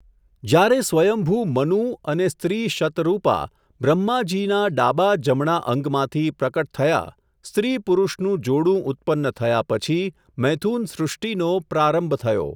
જ્યારે સ્વયંભુ મનું, અને, સ્ત્રી શતરૂપા, બ્રહ્માજીના ડાબા જમણા અંગમાંથી, પ્રકટ થયા, સ્ત્રી પુરૂષનું જોડું ઉત્પન્ન થયા પછી, મૈથુન સૃષ્ટિનો, પ્રારંભ થયો.